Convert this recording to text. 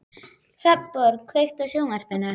Hrafnborg, kveiktu á sjónvarpinu.